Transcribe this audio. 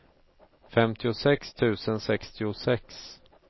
femtiosex tusen sextiosex